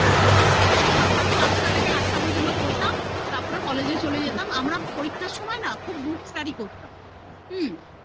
সকাল ৫টা থেকে ৮ টা পর্যন্ত পড়তাম, তারপর college এ চলে যেতাম, আমরা পরিক্ষার সময় না খুব group study করতাম,